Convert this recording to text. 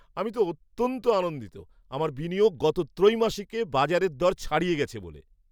আমি তো অত্যন্ত আনন্দিত আমার বিনিয়োগ গত ত্রৈমাসিকে বাজারের দর ছাড়িয়ে গেছে বলে।